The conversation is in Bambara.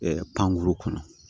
pankuru kɔnɔ